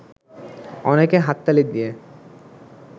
অনেকে হাততালি দিয়ে